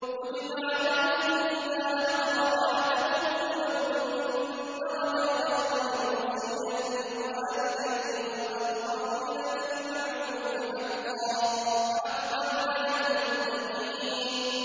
كُتِبَ عَلَيْكُمْ إِذَا حَضَرَ أَحَدَكُمُ الْمَوْتُ إِن تَرَكَ خَيْرًا الْوَصِيَّةُ لِلْوَالِدَيْنِ وَالْأَقْرَبِينَ بِالْمَعْرُوفِ ۖ حَقًّا عَلَى الْمُتَّقِينَ